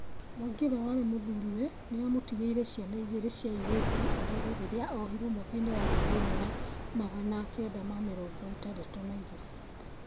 Mwangi, ũrĩa warĩ mũthũriwe , nĩ amũtigĩire ciana igĩrĩ cia airĩtu arere rĩrĩa ohirwo mwaka-inĩ wa ngiri ĩmwe na magana kenda ma mĩrongo ĩtandatũ na igĩrĩ